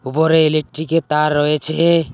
উপরে ইলেকট্রিক -এর তার রয়েছে।